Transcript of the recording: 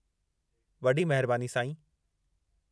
वॾी महिरबानी, साईं।